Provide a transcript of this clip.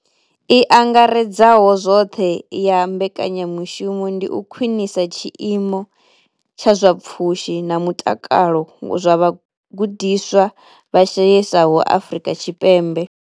I angaredzaho zwoṱhe ya mbekanya mushumo ndi u khwinisa tshiimo tsha zwa pfushi na mutakalo zwa vhagudiswa vha shayesaho Afrika Tshipembe.